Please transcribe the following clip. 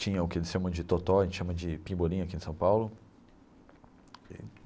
Tinha o que eles chamam de totó, a gente chama de pebolim aqui em São Paulo.